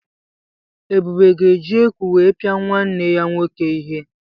Ebube ga-eji eku wee pia nwanne ya nwoke ihe.